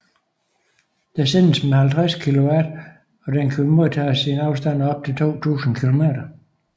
Der sendes med 50 kW og den kan modtages i en afstand af op til 2000 km